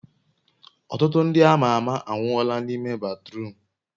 Ọtụtụ ndị ama ama anwụọla n'ime batruum